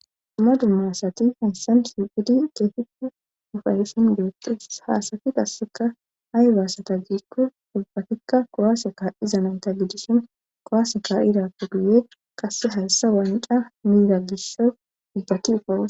ammadu masati hensan suidi geefikku ufayusun doottes haasati gasseka hay baasata jiikko dubbatikka kowaaseka izananta gidisin kowaaseka irappu guye qasse halsa waanidha miida gisso dubbaki ufawus